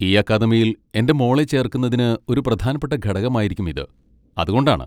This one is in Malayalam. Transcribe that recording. ഈ അക്കാദമിയിൽ എൻ്റെ മോളെ ചേർക്കുന്നതിന് ഒരു പ്രധാനപ്പെട്ട ഘടകമായിരിക്കും ഇത്, അത് കൊണ്ടാണ്.